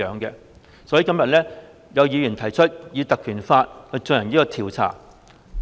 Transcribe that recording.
因此，今天有議員提出引用《條例》，以進行調查。